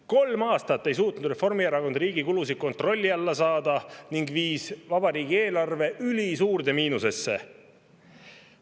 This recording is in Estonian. Kolm aastat ei suutnud Reformierakond riigi kulusid kontrolli alla saada ning viis vabariigi eelarve ülisuurde miinusesse.